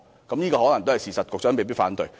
這可能是事實，局長未必會反對。